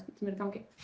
sem er í gangi